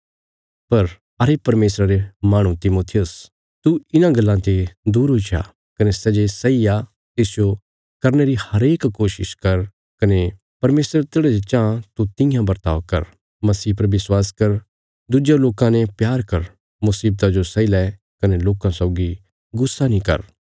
पर अरे परमेशरा रे माहणु तिमुथियुस तू इन्हां गल्लां ते दूर हुई जा कने सै जे सही आ तिसजो करने री हरेक कोशिश कर कने परमेशर तेढ़ा जे चांह तू तियां बर्ताव कर मसीह पर विश्वास कर दुज्यां लोकां ने प्यार कर मुशीवतां जो सैई लै कने लोकां सौगी गुस्सा नीं कर